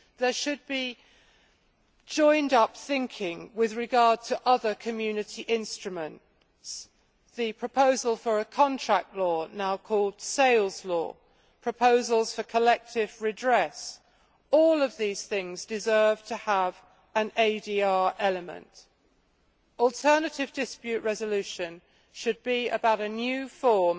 There should be joined up thinking with regard to other Community instruments such as the proposal for a contract law now called sales law and proposals for collective redress. All of these things deserve to have an ADR element. Alternative dispute resolution should be about a new form